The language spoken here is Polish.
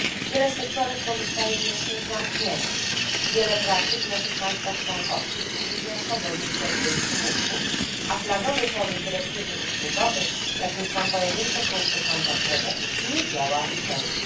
Wiele sektorów pozostaje jeszcze zamkniętych, wiele praktyk w naszych państwach członkowskich utrudnia swobodny przepływ usług, a flagowy pomysł dyrektywy usługowej, jakim są pojedyncze punkty kontaktowe, nie działa w pełni.